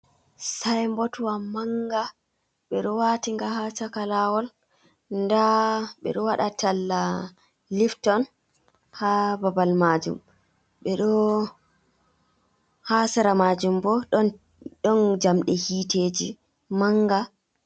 Saimbotwa manga. Be ɗo watinga ha chaka lawol. Ɗa beɗo waɗa talla lifton ha babal majum. ha sera majum bo ɗon jamɗe hiteji manga.